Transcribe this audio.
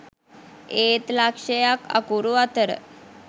ඒත් ලක්ෂයක් අකුරු අතර